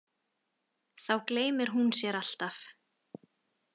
Þá gleymir hún sér alltaf.